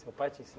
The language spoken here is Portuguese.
Seu pai te